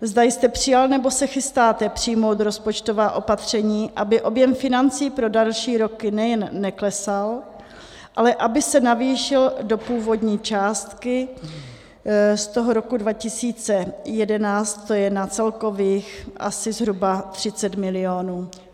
zda jste přijal nebo se chystáte přijmout rozpočtová opatření, aby objem financí pro další roky nejen neklesal, ale aby se navýšil do původní částky, z toho roku 2011, to je na celkových asi zhruba 30 milionů.